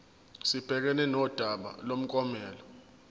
sibhekane nodaba lomklomelo